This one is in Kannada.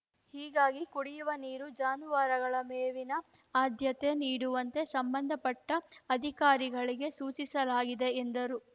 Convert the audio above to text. ಹೀಗಾಗಿ ಕುಡಿಯುವ ನೀರು ಜಾನುವಾರುಗಳ ಮೇವಿನ ಆದ್ಯತೆ ನೀಡುವಂತೆ ಸಂಬಂಧಪಟ್ಟ ಅಧಿಕಾರಿಗಳಿಗೆ ಸೂಚಿಸಲಾಗಿದೆ ಎಂದರು